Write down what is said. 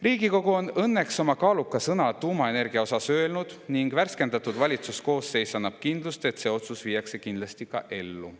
Riigikogu on õnneks tuumaenergia kohta oma kaaluka sõna öelnud ning värskendatud valitsuskoosseis annab kindlust, et see otsus viiakse kindlasti ka ellu.